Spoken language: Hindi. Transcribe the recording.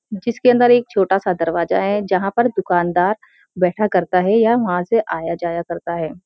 जिसके अंदर एक छोटा सा दरवाजा है जहाँ पर दुकानदार बैठा करता है या वहाँ से आया जाया करता है।